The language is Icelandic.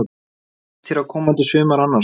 Hvernig líst þér á komandi sumar annars?